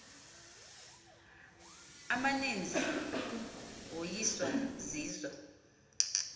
amaninzi woyiswa zizo